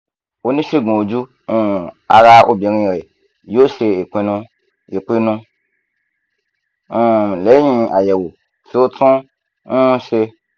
onisegun oju um ara obinrin rẹ yoo ṣe ipinnu ipinnu um lẹhin ayẹwo ti o tun um ṣe